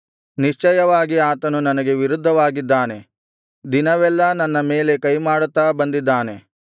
ನಿಶ್ಚಯವಾಗಿ ಆತನು ನನಗೆ ವಿರುದ್ಧವಾಗಿದ್ದಾನೆ ದಿನವೆಲ್ಲಾ ನನ್ನ ಮೇಲೆ ಕೈಮಾಡುತ್ತಾ ಬಂದಿದ್ದಾನೆ